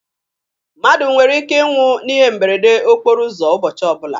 Mmadụ nwere ike ị nwụ n'ihe mberede okporo ụzọ ụbọchị ọbụla.